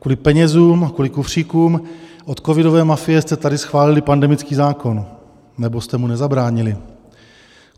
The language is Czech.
Kvůli penězům, kvůli kufříkům od covidové mafie jste tady schválili pandemický zákon, nebo jste mu nezabránili.